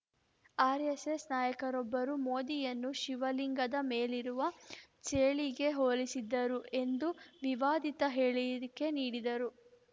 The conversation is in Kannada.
ಆರ್‌ಎಸ್‌ಎಸ್‌ ನಾಯಕರೊಬ್ಬರು ಮೋದಿಯನ್ನು ಶಿವಲಿಂಗದ ಮೇಲಿರುವ ಚೇಳಿಗೆ ಹೋಲಿಸಿದ್ದರು ಎಂದು ವಿವಾದಿತ ಹೇಳಿಕೆ ನೀಡಿದ್ದರು